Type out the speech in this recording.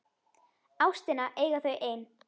Ástina eiga þau ein.